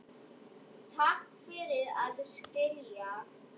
Takk fyrir að skilja.